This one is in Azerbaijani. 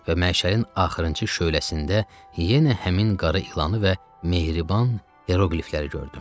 və məşəlimin axırıncı şöləsində yenə həmin qara ilanı və mehriban iroqlifləri gördüm.